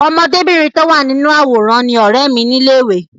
Ọmọbìnrin tí ó wà nínú àwòrán ni ọ̀rẹ́ mi ní ilé ìwé.